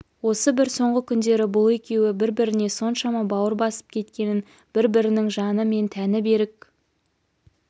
осы бір соңғы күндері бұл екеуі бір-біріне соншама бауыр басып кеткенін бір-бірінің жаны мен тәні берік